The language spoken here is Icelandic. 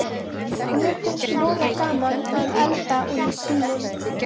Mér finnst voða gaman að elda oní Símon.